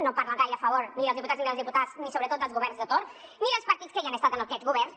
no parla gaire a favor ni dels diputats ni de les diputades ni sobretot dels governs de torn ni dels partits que hi han estat en aquests governs